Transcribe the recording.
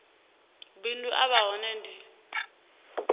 bindu a vha hone ndi